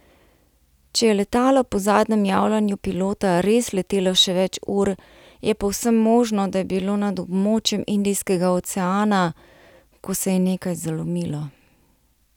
Če je letalo po zadnjem javljanju pilota res letelo še več ur, je povsem možno, da je bilo nad območjem Indijskega oceana, ko se je nekaj zalomilo.